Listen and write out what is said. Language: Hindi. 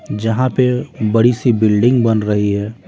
जहां पे बड़ी सी बिल्डिंग बन रही है।